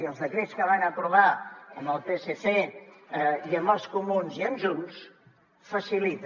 i els decrets que van aprovar amb el psc i amb els comuns i amb junts ho facilita